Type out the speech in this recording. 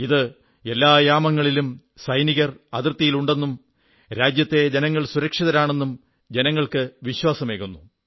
ഇത് എല്ലാ യാമങ്ങളിലും സൈനികർ അതിർത്തിയിൽ ഉണ്ടെന്നും രാജ്യത്തെ ജനങ്ങൾ സുരക്ഷിതരാണെന്നും ജനങ്ങൾക്കു വിശ്വാസമേകുന്നു